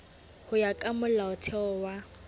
ho ya ka molaotheo wa